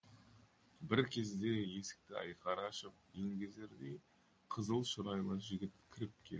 бір кезде есікті айқара ашып еңгезердей қызыл шырайлы жігіт кіріп келді